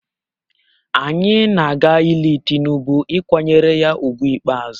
Anyị na-aga ili Tinubu ịkwanyere ya ugwu ikpeazụ